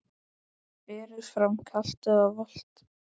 Berið fram kalt eða volgt.